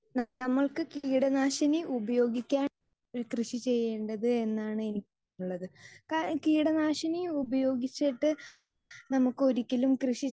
speaker 2 നമുക്ക് കീടനാശിനി ഉപയോഗിക്കാൻ കൃഷി ചെയ്യേണ്ടത് എന്നാണ് എനിക്ക് തോന്നുന്നത് കാരണം കീടനാശിനി ഉപയോഗിച്ചിട്ട് നമുക്കൊരിക്കലും